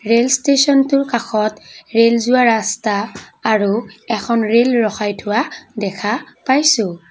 Rail ষ্টেছনটোৰ কাষত rail যোৱা ৰাস্তা আৰু এখন ৰেল ৰখাই থোৱা দেখা পাইছোঁ।